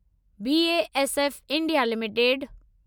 BASF India limited